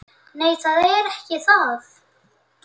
Nei, það er ekki það.